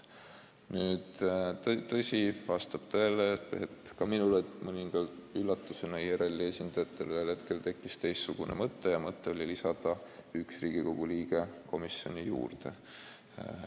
Nüüd, vastab tõele, et ka minule tuli mõninga üllatusena, et IRL-i esindajatel tekkis ühel hetkel teistsugune mõte: mõte lisada üks Riigikogu liige komisjoni juurde.